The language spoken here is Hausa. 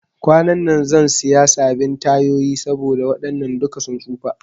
Kwanan zan siya sabin tayoyi saboda waɗannan duka sun tsufa